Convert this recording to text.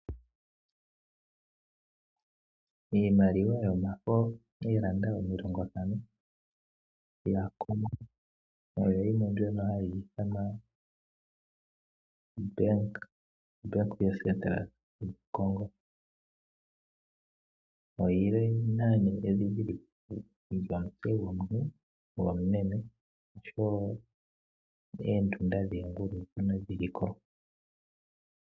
Iimaliwa yomafo ooFrancis omilongo ntano dhaCongo oyo yimwe mbyono hayi ithanwa Banque Centrale Congo. Oyi na edhindhiliko lyomutse gomuntu gomumeme noshowo oondunda dhoongulu, ano dhi li ko.